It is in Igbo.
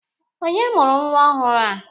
Onye mụrụ nwa ọhụrụ a?